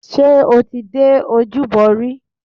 Ṣé o ti dé ojúbọ rí?